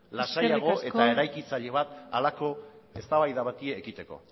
lasaiagoa eta eraikitzaile bat halako eztabaida bati ekiteko